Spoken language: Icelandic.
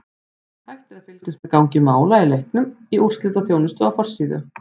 Hægt er að fylgjast með gangi mála í leiknum í úrslitaþjónustu á forsíðu.